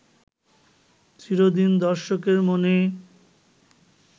চিরদিন দর্শকের মনে